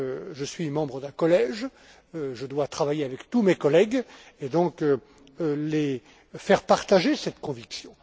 Je suis membre d'un collège, je dois travailler avec tous mes collègues et donc leur faire partager cette conviction.